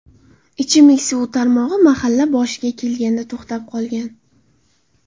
Ichimlik suvi tarmog‘i mahalla boshiga kelganda to‘xtab qolgan.